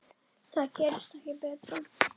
Það gerist ekki betra.